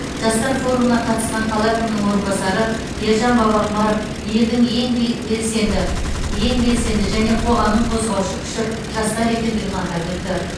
жастар форумына қатысқан қала әкімінің орынбасары ержан бабақұмаров елдің ең бел белсенді ең белсенді және қоғамның қозғаушы күші жастар екендігін атап өтті